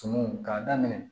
Sumunw k'a daminɛ